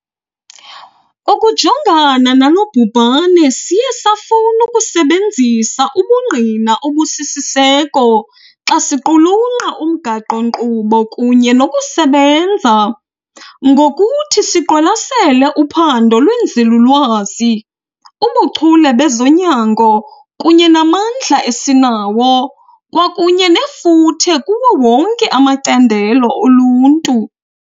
Ukujongana nalo bhubhane siye safuna ukusebenzisa ubungqina obusisiseko xa siqulunkqa umgaqo-nkqubo kunye nokusebenza. Ngokuthi siqwalasele uphando lwenzululwazi, ubuchule bezonyango kunye namandla esinawo, kwakunye nefuthe kuwo wonke amacandelo oluntu.